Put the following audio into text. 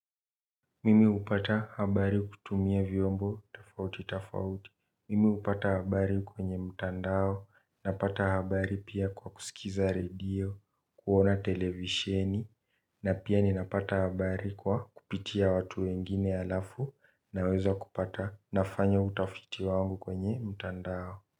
Mimi hupata habari kutumia vyombo tofauti tafauti. Mimi hupata habari kwenye mtandao. Napata habari pia kwa kusikiza radio kuona televisheni na kupata habari kwa kupitia watu wengine alafu naweza kupata nafanya utafiti wangu kwenye mtandao.